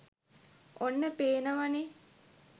ඔන්න පේනවනේ